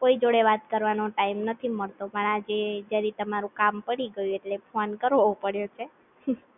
કોઈ જોડે વાત કરવાનો Time નથી મળતો મારા જે જ્યારે તમારું કામ પડી ગયો એટલે ફોન કરવો પડ્યો છે.